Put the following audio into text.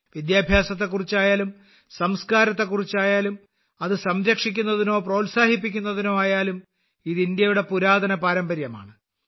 വിദ്യാഭ്യാസത്തെക്കുറിച്ചായാലും സംസ്കാരത്തെക്കുറിച്ചായാലും അത് സംരക്ഷിക്കുന്നതിനോ പ്രോത്സാഹിപ്പിക്കുന്നതിനോ ആയാലും ഇത് ഇന്ത്യയുടെ പുരാതന പാരമ്പര്യമാണ്